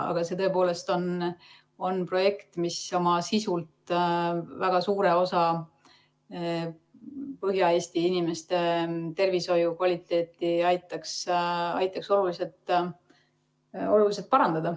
See on tõepoolest projekt, mis aitaks väga suure osa Põhja-Eesti inimeste tervishoiukvaliteeti oluliselt parandada.